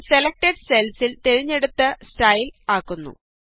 അത് സെലക്ടഡ് സെല്സില് തിരഞ്ഞെടുത്ത സ്റ്റൈല് ആക്കുന്നു